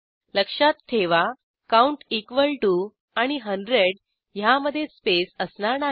लक्षात ठेवा count equal to आणि 100 ह्यामधे स्पेस असणार नाही